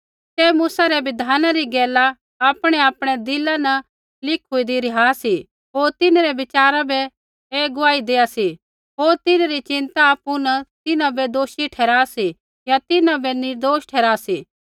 तै मूसै रै बिधाना री गैला आपणैआपणै दिला न लिखूंईन्दी रिहा सी होर तिन्हरै विचार बी ऐ गुआही देआ सा होर तिन्हैं री चिंता आपु न तिन्हां बै दोषी ठहरा सी या तिन्हां बै निर्दोष ठहरा सी